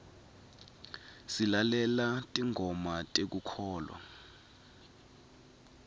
silalela tingoma tekukholwa